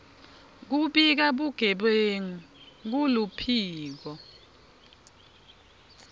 kubika bugebengu kuluphiko